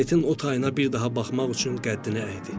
Planetinin o tayına bir daha baxmaq üçün qəddini əydi.